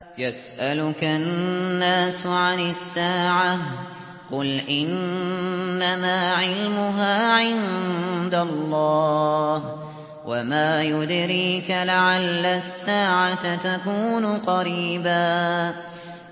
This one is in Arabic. يَسْأَلُكَ النَّاسُ عَنِ السَّاعَةِ ۖ قُلْ إِنَّمَا عِلْمُهَا عِندَ اللَّهِ ۚ وَمَا يُدْرِيكَ لَعَلَّ السَّاعَةَ تَكُونُ قَرِيبًا